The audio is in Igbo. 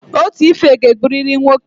something must kill man